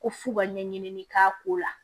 Ko f'u ka ɲɛɲini k'a ko la